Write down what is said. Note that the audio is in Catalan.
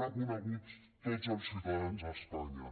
reconeguts tots els ciutadans d’espanya